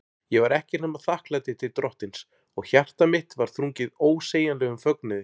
Ég var ekkert nema þakklæti til Drottins, og hjarta mitt var þrungið ósegjanlegum fögnuði.